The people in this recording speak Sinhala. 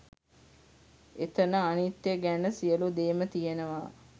එතන අනිත්‍යය ගැන සියලු දේම තියෙනවා